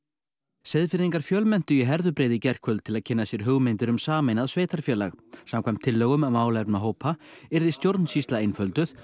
Seyðfirðingar fjölmenntu í Herðubreið í gærkvöld til að kynna sér hugmyndir um sameinað sveitarfélag samkvæmt tillögum málefnahópa yrði stjórnsýsla einfölduð